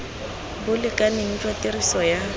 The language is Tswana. bo lekaneng jwa tiriso ya